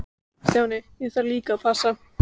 Stjáni, ég þarf líka að passa.